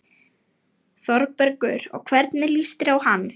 ÞÓRBERGUR: Og hvernig líst þér á hann?